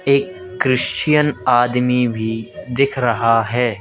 एक क्रिश्चियन आदमी भी दिख रहा है।